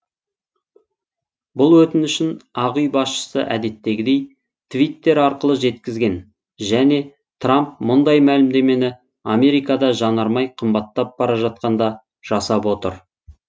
бұл өтінішін ақ үй басшысы әдеттегідей твиттер арқылы жеткізген және трамп мұндай мәлімдемені америкада жанармай қымбаттап бара жатқанда жасап отыр